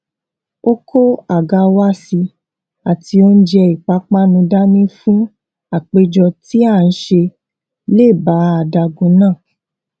ó kó àga wá si àti oúnjẹ ìpapánu dání fún àpéjọ ìta tí à ń ṣe lébàá adágún náà